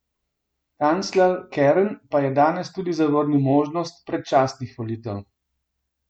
Kancler Kern pa je danes tudi zavrnil možnost predčasnih volitev.